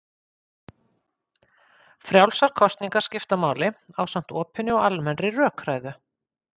Frjálsar kosningar skipta máli ásamt opinni og almennri rökræðu.